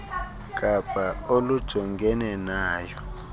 kapa olujongene nayo